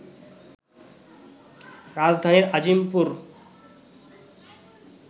রাজধানীর আজিমপুর